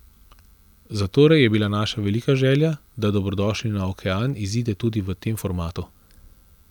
Zatorej je bila naša velika želja, da Dobrodošli na okean izide tudi v tem formatu.